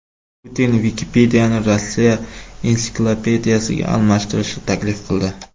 Putin Vikipediyani Rossiya ensiklopediyasiga almashtirishni taklif qildi.